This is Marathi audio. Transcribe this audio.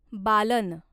बालन